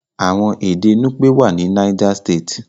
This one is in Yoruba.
Àwọn èdè nupe wá ní niger state.